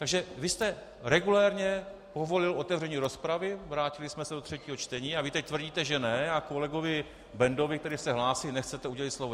Takže vy jste regulérně povolil otevření rozpravy, vrátili jsme se do třetího čtení, a vy teď tvrdíte že ne, a kolegovi Bendovi, který se hlásil, nechcete udělit slovo.